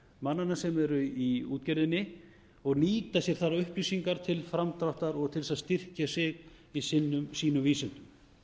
mannanna sem eru í útgerðinni og nýta sér þær upplýsingar til framdráttar og til þess að styrkja sig í sínum vísindum